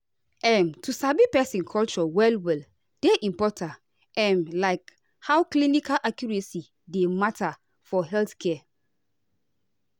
um to sabi person culture well well dey important um like how clinical accuracy dey matter for healthcare.